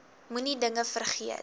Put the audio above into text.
moenie dinge vergeet